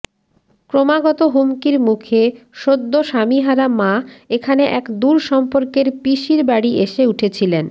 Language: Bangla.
ক্রমাগত হুমকির মুখে সদ্য স্বামীহারা মা এখানে এক দূর সম্পর্কের পিসির বাড়ি এসে উঠেছিলেন